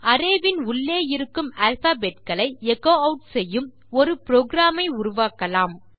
array வின் உள்ளே இருக்கும் அல்பாபெட் களை எச்சோ ஆட் செய்யும் ஒரு புரோகிராம் ஐ உருவாக்கலாம்